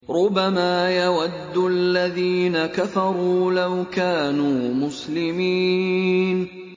رُّبَمَا يَوَدُّ الَّذِينَ كَفَرُوا لَوْ كَانُوا مُسْلِمِينَ